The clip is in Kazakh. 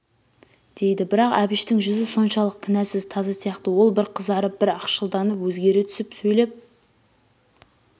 дейді бірақ әбіштің жүзі соншалық кінәсыз таза сияқты ол бір қызарып бір ақшылданып өзгере түсіп сөйлеп